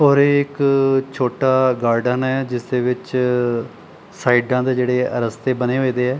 ਔਰ ਇੱਕ ਛੋਟਾ ਗਾਰਡਨ ਹੈ ਜਿਸ ਦੇ ਵਿੱਚ ਸਾਈਡਾਂ ਤੇ ਜਿਹੜੇ ਰਸਤੇ ਬਣੇ ਹੋਏਦੇ ਹੈ।